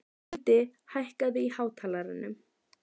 Lindi, hækkaðu í hátalaranum.